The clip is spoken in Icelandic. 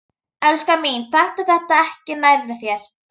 Elskan mín, taktu þetta ekki nærri þér.